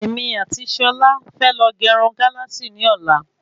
Èmi àti Sola fẹ lọ ge irun Galasi ni ọ̀la